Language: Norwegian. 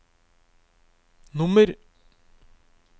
nummer